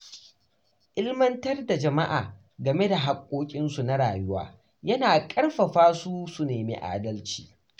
Ilimantar da jama’a game da hakkokinsu na rayuwa yana ƙarfafa su su nemi adalci.